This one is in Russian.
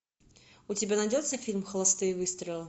у тебя найдется фильм холостые выстрелы